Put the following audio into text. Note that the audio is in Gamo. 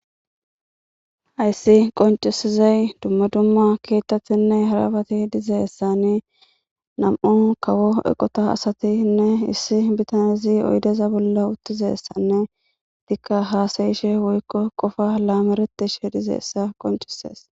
hayssi qoncisizay dumma dumma keettatinne harafati dizeessani nam7u kawo eqota asatinne issi bitanezi oydeza bolla uttizessanne tikka haasayishe woykko qofa laameretish dizeessa qoncisees